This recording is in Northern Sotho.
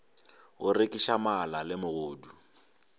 go rekiša mala le megodu